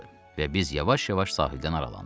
və biz yavaş-yavaş sahildən aralandıq.